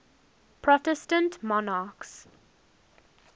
protestant monarchs